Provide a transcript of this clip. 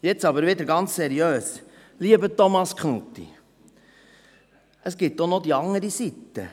Nun aber wieder ganz seriös: Lieber Thomas Knutti, es gibt auch noch die andere Seite.